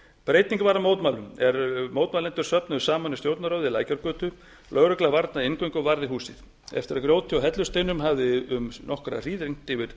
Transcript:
breyting varð á mótmælunum er mótmælendur söfnuðust saman við stjórnarráðið í lækjargötu lögregla varnaði inngöngu og varði húsið eftir að grjóti og hellusteinum hafði um nokkra hríð rignt yfir